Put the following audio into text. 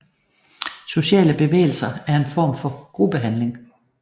Sociale bevægelser er en form for gruppehandling